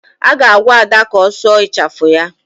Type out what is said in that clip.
Ị ga-agwa Ada ka ọ sụọ ịchafụ ya